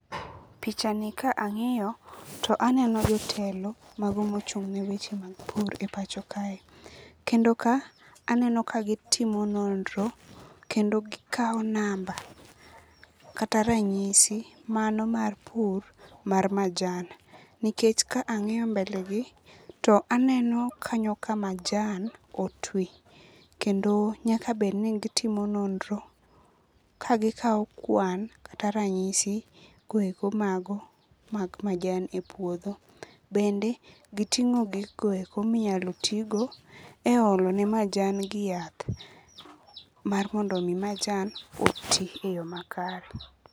Pichani ka ang'iyo to aneno jotelo mago mochung' ne weche mag pur e pacho kae. Kendo ka, aneno ka gitimo nonro kendo gikawo namba kata ranyisi mano mar pur mar majan. Nikech ka ang'iyo mbele gi to aneno kanyo ka majan otwi kendo nyakabed ni gitimo nonro kagikawo kwan kata ranyisi goeko mag majan e puodho. Bende, giting'o giko minyalo tigo e olone majangi yath, mar mondomi majan oti e yo makare.